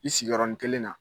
I sigiyɔrɔnin kelen na